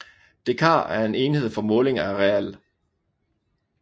Dekar er en enhed for måling af areal